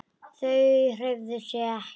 Þau hreyfðu sig ekki.